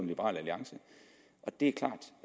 liberal alliance det er klart